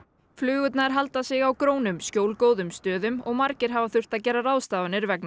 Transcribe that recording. flugurnar halda sig á grónum skjólgóðum stöðum og margir hafa þurft að gera ráðstafanir vegna